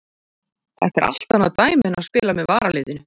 Þetta er allt annað dæmi en að spila með varaliðinu.